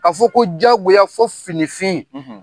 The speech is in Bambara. Ka fɔ ko jagoya fo finifin;